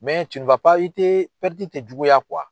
i tɛ tɛ juguya